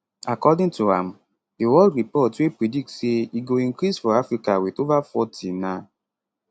according to am di world report wey predict say e go increase for africa wit ova forty na